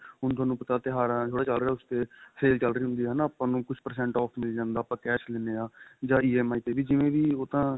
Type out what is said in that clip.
ਹੁਣ ਤੁਹਾਨੂੰ ਪਤਾ ਕੀ ਤਿਉਹਾਰਾ ਦਾ ਥੋੜਾ ਚੱਲ ਰਿਹਾ ਉਸ ਤੇ sale ਚੱਲ ਰਹੀ ਹੁੰਦੀ ਏ ਆਪਾਂ ਨੂੰ ਕੁੱਝ percent off ਮਿਲ ਜਾਂਦਾ ਆਪਾਂ cash ਲੀਨੇ ਆ ਜਾਂ EMI ਤੇ ਵੀ ਜਿਵੇਂ ਵੀ ਉਹ ਤਾਂ